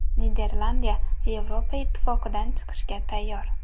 Niderlandiya Yevropa Ittifotidan chiqishga tayyor.